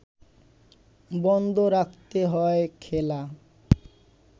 বন্ধ রাখতে হয় খেলা